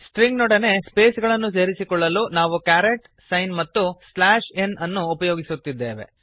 string ನೊಡನೆ space ಗಳನ್ನು ಸೇರಿಸಿಕೊಳ್ಳಲು ನಾವು ಕ್ಯಾರೆಟ್ ಸೈನ್ ಮತ್ತು ಸ್ಲ್ಯಾಶ್ ಎನ್ ಅನ್ನು ಉಪಯೋಗಿಸುತ್ತಿದ್ದೇವೆ